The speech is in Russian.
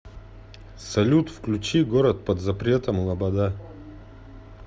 салют включи город под запретом лобода